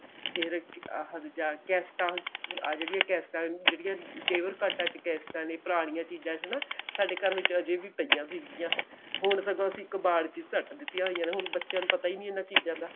ਫੇਰ ਆਹ ਕੈਸਟਾ ਆਹ ਜਿਹੜੀਆਂ ਕੈਸਟਾ ਜਿਹੜੀਆਂ ਕੈਸਟਾ ਨੇ ਪੁਰਾਣੀਆਂ ਚੀਜਾਂ ਚ ਹਨਾ ਸਾਡੇ ਘਰ ਵਿੱਚ ਅਜੇ ਵੀ ਪਈਆਂ ਸੀਗੀਆਂ ਹੁਣ ਸਗੋਂ ਅਸੀਂ ਕਬਾੜ ਚ ਹੀ ਸੱਟ ਦਿਤੀਆਂ ਹੋਈਆਂ ਹੁਣ ਤਾਂ ਬੱਚਿਆ ਨੂੰ ਪਤਾ ਹੀ ਨਹੀਂ ਇਹਨਾਂ ਚੀਜਾਂ ਦਾ